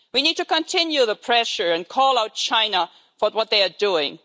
We need to continue the pressure and call out China for what they are doing.